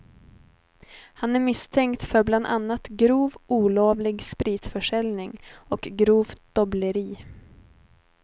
Han är misstänkt för bland annat grov olovlig spritförsäljning och grovt dobbleri.